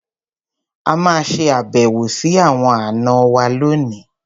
A máa ṣe àbẹ̀wò sí àwọn àna wa lónìí.